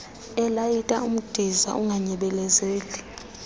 elayita umdiza unganyebelezeli